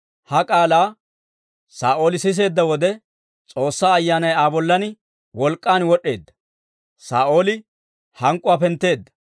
Ha k'aalaa Saa'ooli siseedda wode, S'oossaa Ayyaanay Aa bollan wolk'k'an wod'd'eedda; Saa'ooli hank'k'uwaa pentteedda.